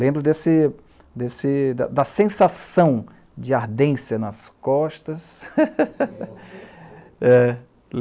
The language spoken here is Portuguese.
Lembro desse, desse... da sensação de ardência nas costas. (falas abafadas) É...